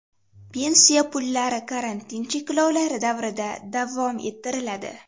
Pensiya pullari karantin cheklovlari davrida davom ettiriladi.